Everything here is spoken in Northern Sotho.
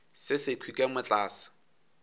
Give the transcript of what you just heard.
se sekhwi ka mo tlase